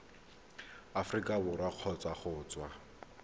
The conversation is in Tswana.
aforika borwa kgotsa go tswa